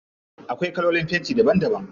Akwai kalolin fenti daban daban.